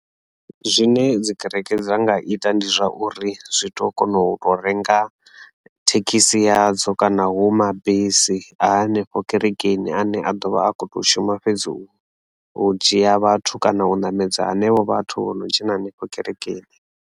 Zwine dzi kereke dza nga ita ndi zwauri zwitokona u to renga thekhisi ya dzo kana na mabisi hanefho Kerekeni ane a ḓovha a kho to shuma fhedzi wa u dzhia vhathu kana u ṋamedza henevho vhathu vho no dzhena henefho kerekeni.